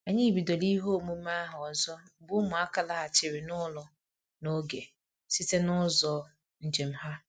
Anyị bidoro ihe omume ahụ ọzọ mgbe ụmụaka laghachiri n'ụlọ n'oge site n'ụzọ njem ha